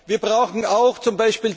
Wir brauchen auch z.